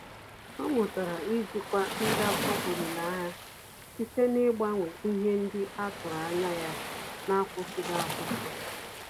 Ọ́ mụ́tàrà íjíkwá ndakpọ olileanya site n’ị́gbànwé ihe ndị a tụ́rụ́ ányá ya n’ákwụ́sị́ghị́ ákwụ́sị́.